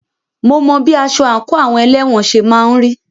Mo mọ bí aṣọ àńkò àwọn elẹ́wọ̀n ṣe máà ń rí.